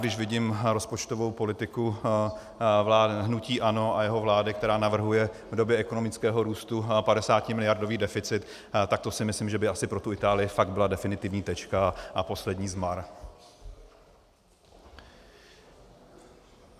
Když vidím rozpočtovou politiku hnutí ANO a jeho vlády, která navrhuje v době ekonomického růstu 50miliardový deficit, tak to si myslím, že by asi pro tu Itálii fakt byla definitivní tečka a poslední zmar.